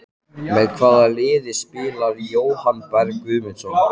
Með hvaða liði spilar Jóhann Berg Guðmundsson?